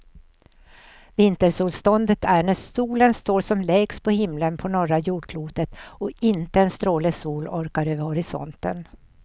Vintersolståndet är när solen står som lägst på himlen på norra jordklotet och inte en stråle sol orkar över horisonten.